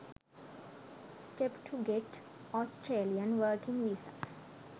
steps to get australian working visa